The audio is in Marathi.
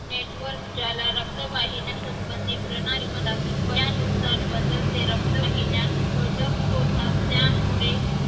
network ज्याला रक्तवाहिन्यांसंबंधित प्रणाली म्हणतात. वयानुसार बदलते रक्तवाहिन्या कडक होतात त्यामुळे